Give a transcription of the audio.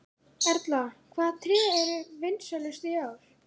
Erla, hvaða tré eru vinsælust í ár?